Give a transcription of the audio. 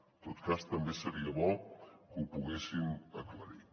en tot cas també seria bo que ho poguessin aclarir